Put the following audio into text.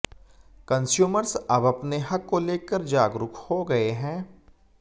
consumers अब अपने हक को लेकर जागरूक हो गए हैं